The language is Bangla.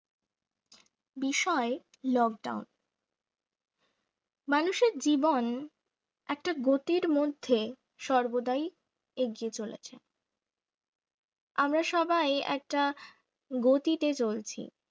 বিষয় lockdown মানুষের জীবন একটা গতির মধ্যে সর্বদাই এগিয়ে চলেছে আমরা সবাই একটা গতিতে চলছি